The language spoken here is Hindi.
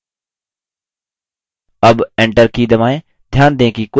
अब enter की दबाएँ